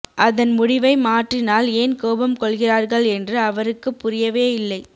அதன் முடிவை மாற்றினால் ஏன் கோபம் கொள்கிறார்கள் என்று அவருக்குப் புரியவேயில்லை